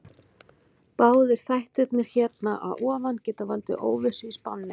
Báðir þættirnir hér að ofan geta valdið óvissu í spánni.